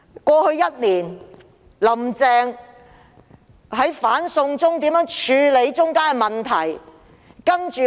過去一年，"林鄭"在"反送中"事件中如何處理問題呢？